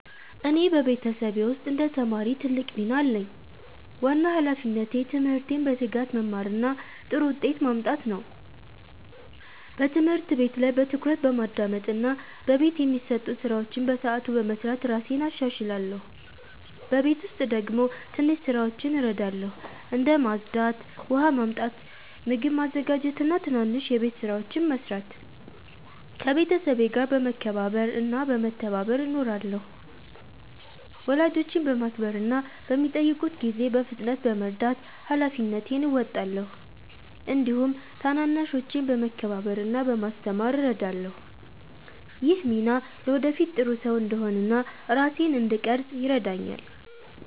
እኔ በቤተሰቤ ውስጥ እንደ ተማሪ ትልቅ ሚና አለኝ። ዋና ሃላፊነቴ ትምህርቴን በትጋት መማር እና ጥሩ ውጤት ማምጣት ነው። በትምህርት ቤት ላይ በትኩረት በማዳመጥ እና በቤት የሚሰጡ ስራዎችን በሰዓቱ በመስራት እራሴን እሻሻላለሁ። በቤት ውስጥ ደግሞ ትንሽ ስራዎችን እረዳለሁ፣ እንደ ማጽዳት፣ ውሃ ማመጣት፣ ምግብ ማዘጋጀት እና ትናንሽ የቤት ስራዎችን መስራት። ከቤተሰቤ ጋር በመከባበር እና በመተባበር እኖራለሁ። ወላጆቼን በማክበር እና በሚጠይቁት ጊዜ በፍጥነት በመርዳት ሃላፊነቴን እወጣለሁ። እንዲሁም ታናናሾችን በመከባበር እና በማስተማር እረዳለሁ። ይህ ሚና ለወደፊት ጥሩ ሰው እንድሆን እና ራሴን እንድቀርፅ ይረዳኛል።